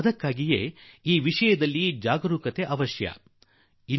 ಆದುದರಿಂದ ಈ ವಿಚಾರದಲ್ಲಿ ಎಚ್ಚರಿಕೆಯಿಂದಿರುವುದು ಅತ್ಯಗತ್ಯ